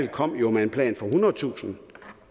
kom jo med en plan for ethundredetusind